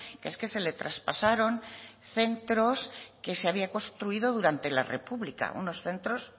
que es que se le traspasaron centros que se habían construido durante la república unos centros